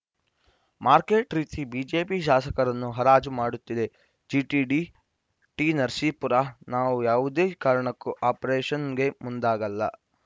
market ರೀತಿ BJP ಶಾಸಕರನ್ನು ಹರಾಜು ಮಾಡುತ್ತಿದೆ ಜಿಟಿಡಿ ಟಿನರಸೀಪುರ ನಾವು ಯಾವುದೇ ಕಾರಣಕ್ಕೂ ಆಪರೇಷನ್‌ಗೆ ಮುಂದಾಗಲ್ಲ